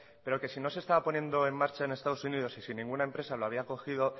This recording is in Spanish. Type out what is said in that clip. pero que si no se estaba poniendo en marcha en estados unidos y si ninguna empresa lo había cogido